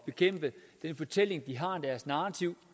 bekæmpe den fortælling eller narrativ